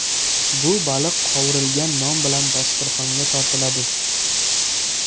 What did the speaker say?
Bu baliq qovurilgan non bilan dasturxonga tortiladi.